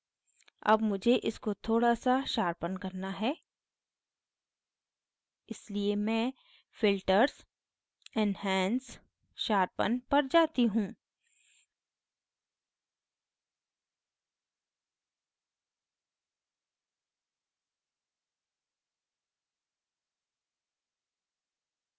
अब मुझे इसको थोड़ा now sharpen करना है इसलिए मैं filters enhance sharpen पर जाती हूँ